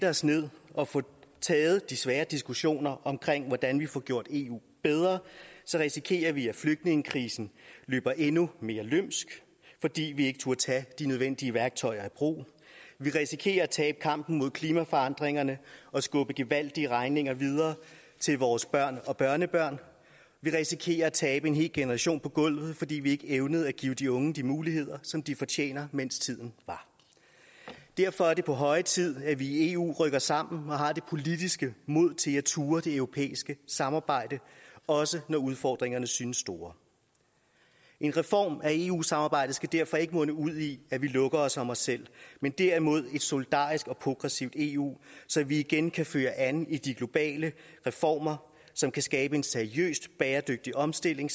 os ned og få taget de svære diskussioner om hvordan vi får gjort eu bedre så risikerer vi at flygtningekrisen løber endnu mere løbsk fordi vi ikke turde tage de nødvendige værktøjer i brug vi risikerer at tabe kampen mod klimaforandringerne og skubbe gevaldige regninger videre til vores børn og børnebørn vi risikerer at tabe en hel generation på gulvet fordi vi ikke evnede at give de unge de muligheder som de fortjener mens tid var derfor er det på høje tid at vi i eu rykker sammen og har det politiske mod til at turde det europæiske samarbejde også når udfordringerne synes store en reform af eu samarbejdet skal derfor ikke munde ud i at vi lukker os om os selv men derimod et solidarisk og progressivt eu så vi igen kan føre an i de globale reformer som kan skabe en seriøs bæredygtig omstilling